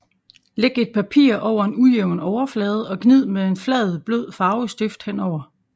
Læg et papir over en ujævn overflade og gnid med en flad blød farvestift henover